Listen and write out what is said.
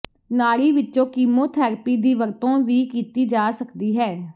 ਨਾੜੀ ਵਿੱਚੋਂ ਕੀਮੋਥੈਰੇਪੀ ਦੀ ਵਰਤੋਂ ਵੀ ਕੀਤੀ ਜਾ ਸਕਦੀ ਹੈ